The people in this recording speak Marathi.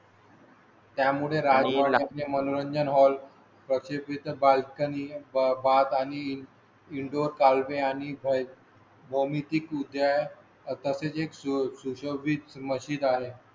त्यामुळे मनोरंजन हॉल बाल्कनी बाबात आणि इन डोर कालवे आणि डोमेस्टिक उदया तसेच एक सुशोभित मशीद आहे.